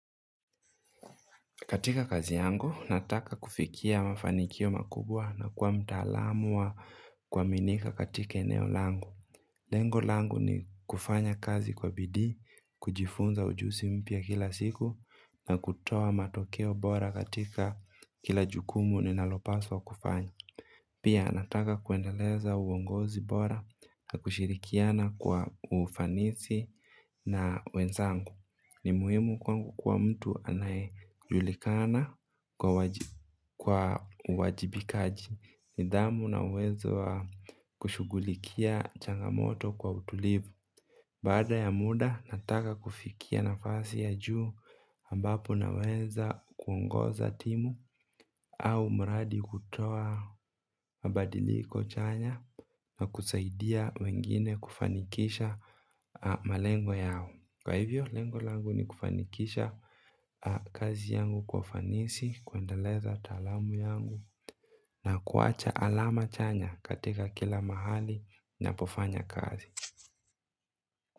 Katika kazi yangu, nataka kufikia mafanikio makubwa na kuwa mtaalamu wa kuaminika katika eneo langu. Lengo langu ni kufanya kazi kwa bidii, kujifunza ujuzi mpya kila siku na kutoa matokeo bora katika kila jukumu ninalopaswa kufanya. Pia, nataka kuendeleza uongozi bora na kushirikiana kwa ufanisi na wenzangu. Ni muhimu kwangu kuwa mtu anayejulikana kwa uwajibikaji, nidhamu na uwezo wa kushughulikia changamoto kwa utulivu baada ya muda nataka kufikia nafasi ya juu ambapo naweza kuongoza timu. Au mradi kutoa mabadiliko chanya na kusaidia wengine kufanikisha malengo yao. Kwa hivyo, lengo langu ni kufanikisha kazi yangu kwa ufanisi, kuendeleza taalamu yangu na kuacha alama chanya katika kila mahali napofanya kazi.